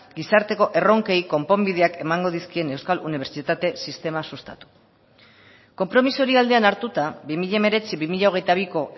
gizarteko erronkei konponbideak emango dizkien euskal unibertsitate sistema sustatu konpromiso hori aldean hartuta bi mila hemeretzi bi mila hogeita biko